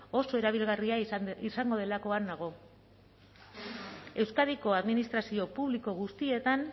oso erabilgarria izango delakoan nago euskadiko administrazio publiko guztietan